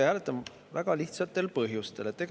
Ja vastu hääletame väga lihtsatel põhjustel.